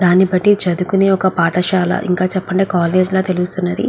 దాని బట్టి చదువుకునే ఒక పాఠశాల ఇంకా చెప్పమంటే కాలేజీ లా తెల్లుస్తునది.